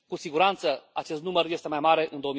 Cu siguranță, acest număr este mai mare în